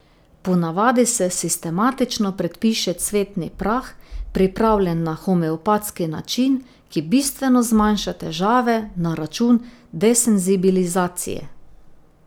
Ponavadi se sistematično predpiše cvetni prah, pripravljen na homeopatski način, ki bistveno zmanjša težave, na račun desenzibilizacije.